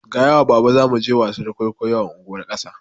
Gaya wa baba zamu je wasar kwaikwayo a unguwar ƙasa